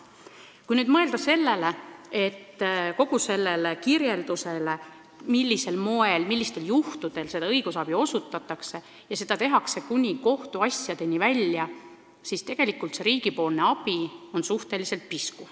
Kui mõelda sellele, millisel moel ja millistel juhtudel seda õigusabi osutatakse – ja seda tehakse kuni kohtuasjadeni välja –, siis tundub riigi abi suhteliselt pisku.